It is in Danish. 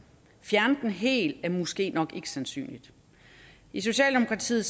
fjerne den helt er måske nok ikke sandsynligt i socialdemokratiet